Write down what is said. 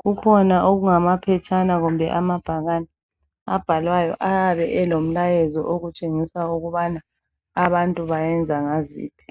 Kukhona okungamaphetshana kumbe amabhakane abhalwayo, ayabe elomlayezo atshengisa ukubana abantu bayenza ngaziphi.